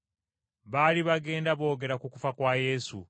Baali bagenda boogera ku kufa kwa Yesu.